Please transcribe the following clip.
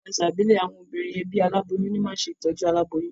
Ní ti àsà ìbílè, àwon obìnrin ebí aláboyún ní ma n se tójú aláboyún